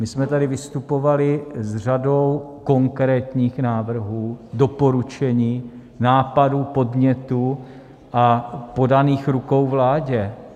My jsme tady vystupovali s řadou konkrétních návrhů, doporučení, nápadů, podnětů a podaných rukou vládě.